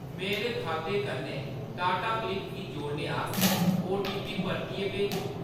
मेरे खाते कन्नै टाटाक्लिक गी जोड़ने आस्तै ओटीपी परतियै भेजो।